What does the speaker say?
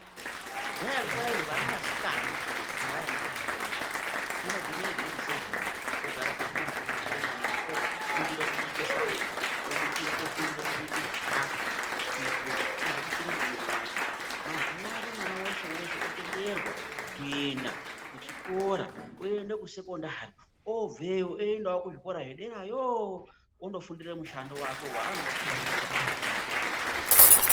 Kudhayako kwaizi vana vasikana havaendi kuchikora unogumire giredi sevheni ongara pamuzi obikire mhamuna ofundire kubike sadza, ofundire kubike chikafu. Kuitire kuti ozvobikira mwamuna vake mazuva ano mwana veshe-veshe otenderwa kuenda kuchikora oende kusekondari obveyo, oendavo kuzvikora zvederayooo, onofundira mushando vakwe vaanoda kuzoita mundaramo yake.